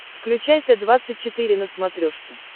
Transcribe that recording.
включай т двадцать четыре на смотрешке